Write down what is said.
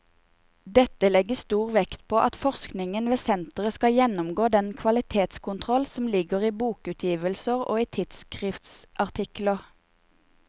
Dette legges stor vekt på at forskningen ved senteret skal gjennomgå den kvalitetskontroll som ligger i bokutgivelser og i tidsskriftsartikler.